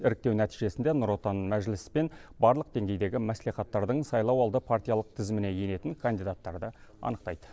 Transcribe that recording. іріктеу нәтижесінде нұр отан мәжіліс пен барлық деңгейдегі мәслихаттардың сайлауалды партиялық тізіміне енетін кандидаттарды анықтайды